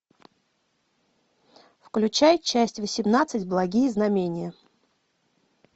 включай часть восемнадцать благие знамения